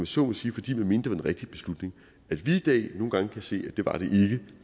så må sige fordi man mente den rigtige beslutning at vi i dag nogle gange kan se at